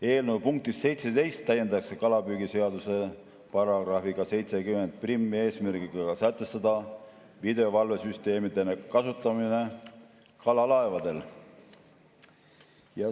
Eelnõu punktiga 17 täiendatakse kalapüügiseadust §‑ga 701 eesmärgiga sätestada videovalvesüsteemide kasutamine kalalaevadel.